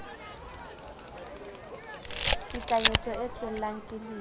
tekanyetso e tswellang ke lewa